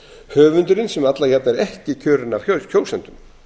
höfundurinn sem alla jafna er ekki kjörinn af kjósendum